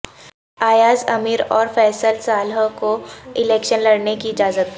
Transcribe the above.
ایاز امیر اور فیصل صالح کو الیکشن لڑنے کی اجازت